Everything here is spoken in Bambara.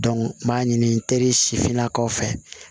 n b'a ɲini teri si finnakaw fɛ